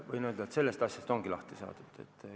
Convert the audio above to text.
Võin öelda, et sellest asjast ongi lahti saadud.